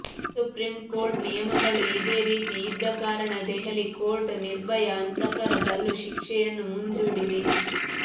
supreme court ನಿಯಮಗಳು ಇದೇ ರೀತಿ ಇದ್ದ ಕಾರಣ ದೆಹಲಿ ಕೋರ್ಟ್ ನಿರ್ಭಯಾ ಹಂತಕರ ಗಲ್ಲು ಶಿಕ್ಷೆಯನ್ನು ಮುಂದೂಡಿದೆ